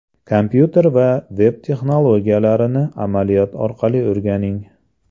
Kompyuter va veb-texnologiyalarini amaliyot orqali o‘rganing!